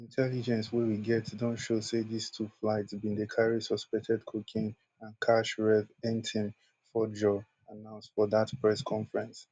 intelligence wey we get don show say dis two flights bin dey carry suspected cocaine and cash rev ntim fordjour announce for dat press conference